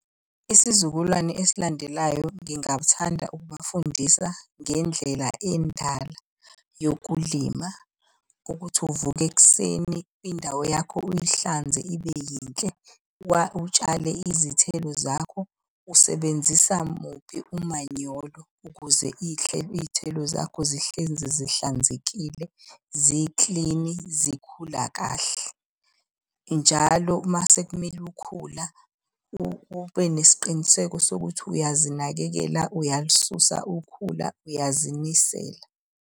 Isizukulwane esilandelayo ngingathanda ukubafundisa ngendlela endala yokulima. Ukuthi uvuka ekuseni indawo yakho uyihlanze ibe yinhle. Utshale izithelo zakho. Usebenzisa muphi umanyolo ukuze iy'thelo zakho zihlezi zihlanzekile, ziklini, zikhula kahle. Njalo uma sekumele ukhula ube nesiqiniseko sokuthi uyazinakekela uyalisusa ukhula uyazinisela.